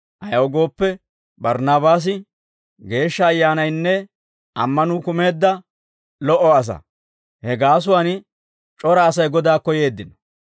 Ayaw gooppe, Barnaabaasi Geeshsha Ayyaanaynne ammanuu kumeedda lo"o asaa; he gaasuwaan c'ora Asay Godaakko yeeddino.